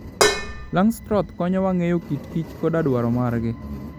Langstroth konyowa ng'eyo kit Kich koda dwaro maggi.